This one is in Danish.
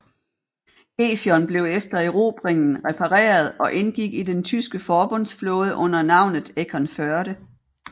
Gefion blev efter erobringen repareret og indgik i den tyske forbundsflåde under navnet Eckernförde